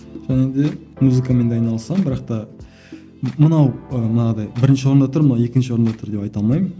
және де музыкамен де айналысамын бірақ та мынау ыыы манағыдай бірінші орында тұр мынау екінші орында тұр деп айта алмаймын